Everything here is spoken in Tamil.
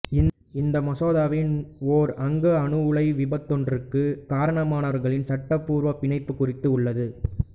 இந்த மசோதாவின் ஓர் அங்கம் அணுஉலை விபத்தொன்றிற்கு காரணமானவர்களின் சட்டபூர்வ பிணைப்புக் குறித்து உள்ளது